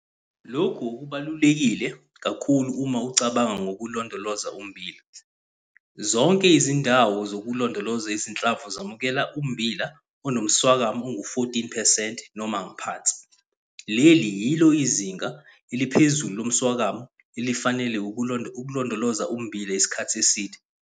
Lokhu okubalulekile kakhulu uma ucabanga ngokulondoloza ummbila. Zonke izindawo zokulondoloza izinhlamvu zamukela ummbila onomswakama ongu-14 percent noma ngaphansi. Leli yilo izinga eliphezulu lomswakama elifanele ukulondoloza ummbila isikhathi eside.